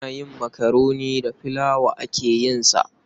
Ana yin makaroni da filawa ake yin sa.